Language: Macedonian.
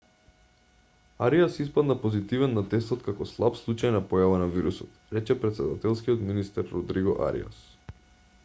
ариас испадна позитивен на тестот како слаб случај на појава на вирусот рече претседателскиот министер родриго ариас